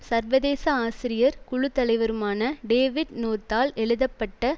சர்வதேச ஆசிரியர் குழு தலைவருமான டேவிட் நோர்த்தால் எழுதப்பட்ட